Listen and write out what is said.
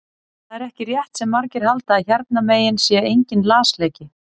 Það er ekki rétt sem margir halda að hérna megin sé enginn lasleiki.